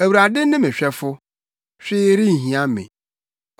Awurade ne me hwɛfo, hwee renhia me.